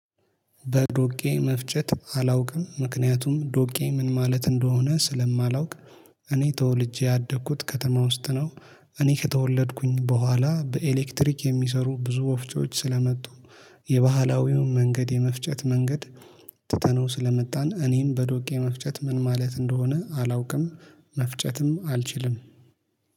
በዶቄ መፍጨት አላውቅም ምክንያቱም ዶቄ ምን ማለት እንደሆነ ስለማላውቅ እኔ ተወልጄ ያደኩት ከተማ ውስጥ ነው። እኔ ከተወለድኩኝ በኋላ በኤሌክትሪክ የሚሰሩ ብዙ ዎፍጮዎች ስለመጡ የባህላዊውን መንገድ የመፍጨት መንገድ ትተነው ስለመጣን እኔም በዶቄ መፍጨት ምን ማለት እንደሆነ አላውቅም መፍጨትም አልችልም